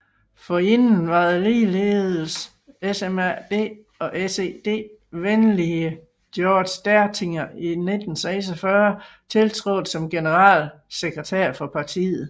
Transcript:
Forinden var den ligeldes SMAD og SED venlige Georg Dertinger i 1946 tiltrådt som generalsekretær for partiet